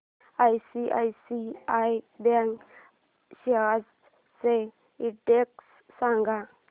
ICICI bank shares चा index सांगा